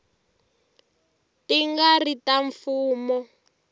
ti nga ri ta mfumo